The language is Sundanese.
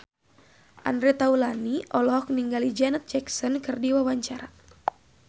Andre Taulany olohok ningali Janet Jackson keur diwawancara